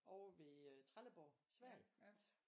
Over ved øh Trelleborg i Sverige